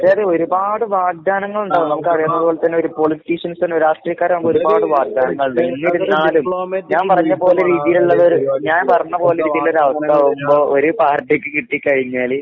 അതെയതെ. ഒരുപാട് വാഗ്ദാനങ്ങളിണ്ടാകും നമുക്കറിയാവുന്നത് പോലെ തന്നെ ഒരു പൊളിറ്റീഷ്യൻസിന് രാഷ്ട്രീയക്കാരാവുമ്പ ഒരുപാട് വാഗ്ധാനങ്ങളിണ്ട്. എന്നിരുന്നാലും ഞാൻ പറഞ്ഞ പോലെ രീതീലിള്ള ഞാൻ പറഞ്ഞ പോലെ രീതീള്ളൊരവസ്ഥാവുമ്പോ ഒര് പാർട്ടിക്ക് കിട്ടിക്കഴിഞ്ഞാല്